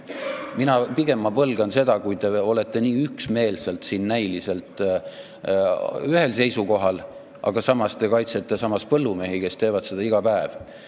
Mina pigem põlgan seda, kui te olete nii üksmeelselt siin näiliselt ühel seisukohal, aga samas te kaitsete põllumehi, kes teevad selliseid asju iga päev.